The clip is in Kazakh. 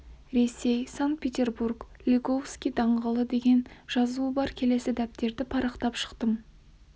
ресей санкт-петербург лиговский даңғылы деген жазуы бар келесі дәптерді парақтап шықтым